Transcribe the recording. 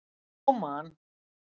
Jú Man.